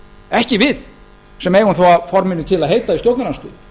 ekki við sem eigum þó að forminu til að heita í stjórnarandstöðu